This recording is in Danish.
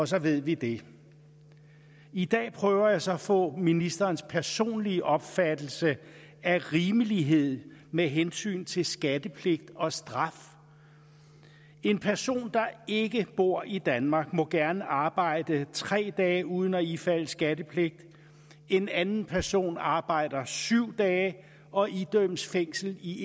så ved vi det i dag prøver jeg så at få ministerens personlige opfattelse af rimelighed med hensyn til skattepligt og straf en person der ikke bor i danmark må gerne arbejde tre dage uden at ifalde skattepligt en anden person arbejder syv dage og idømmes fængsel i